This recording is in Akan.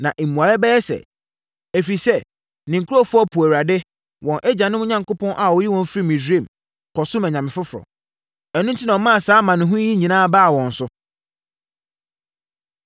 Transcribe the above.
Na mmuaeɛ bɛyɛ sɛ, ‘Ɛfiri sɛ, ne nkurɔfoɔ poo Awurade, wɔn agyanom Onyankopɔn a ɔyii wɔn firii Misraim, kɔsomm anyame foforɔ. Ɛno enti, na ɔmaa saa amanehunu yi nyinaa baa wɔn so.’ ”